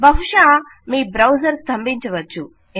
బహుశా మీ బ్రౌజర్ స్తంభించవచ్చు